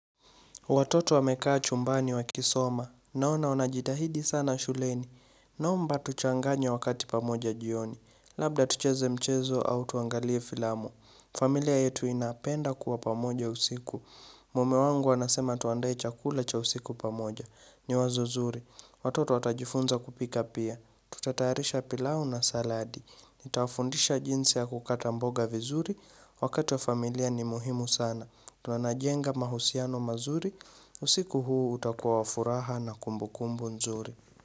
Watoto wamekaa chumbani wa kisoma. Naona wanajitahidi sana shuleni. Naomba tuchanganye wakati pamoja jioni. Labda tucheze mchezo au tuangalie filamu familia yetu inapenda kuwa pamoja usiku. Mume wangu anasema tuandaye chakula cha usiku pamoja. Ni wazo zuri. Watoto watajifunza kupika pia. Tutataharisha pilau na saladi. Nitawafundisha jinsi ya kukata mboga vizuri. Wakati wa familia ni muhimu sana. Tunanajenga mahusiano mazuri, usiku huu utakua wafuraha na kumbu kumbu nzuri.